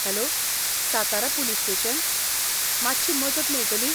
Hello, Satara police station, मातशी मजत मेळटली?